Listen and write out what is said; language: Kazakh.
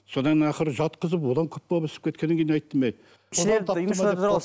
содан ақыры жатқызып одан күп болып ісіп кеткеннен кейін айттым әй